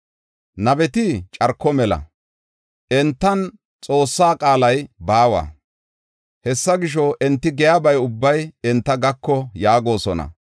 Nabeti carko mela; entan Xoossaa qaalay baawa. Hessa gisho, enti giyaba ubbay enta gako” yaagosona.